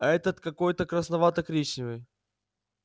а этот какой-то красновато коричневый